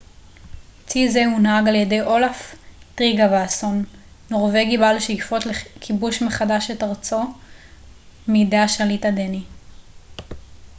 צי זה הונהג על ידי אולאף טריגוואסון נורווגי בעל שאיפות לכיבוש מחדש את ארצו מידי השליט הדני